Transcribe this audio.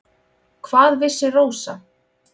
Hvað vissi Rósa.